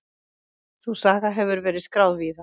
Sú saga hefur verið skráð víða.